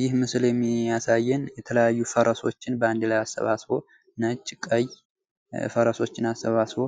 ይህ ምስል የሚያሳየን የተለያዩ ፈረሶችን ባንድ ላይ አሰባስቦ ነጭ፣ ቀይ ፈረሶችን አሰባስቦ